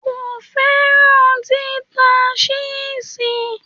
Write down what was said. Kò fẹ́ràn títa ṣẹ́ẹ̀ṣì.